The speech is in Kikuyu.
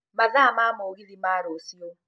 mathaa ma mĩgithi ma rũcii